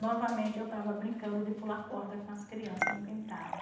Novamente, eu estava brincando de pular corda com as crianças no quintal.